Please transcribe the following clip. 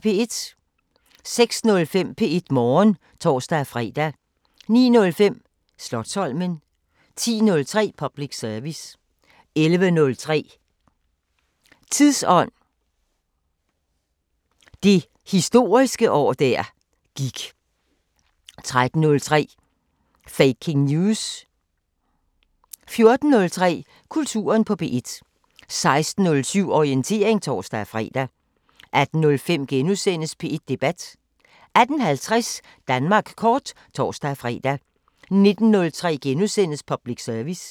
06:05: P1 Morgen (tor-fre) 09:05: Slotsholmen 10:03: Public service 11:03: Tidsånd: Det historiske år der gik 13:03: Faking News! 14:03: Kulturen på P1 16:07: Orientering (tor-fre) 18:05: P1 Debat * 18:50: Danmark kort (tor-fre) 19:03: Public service *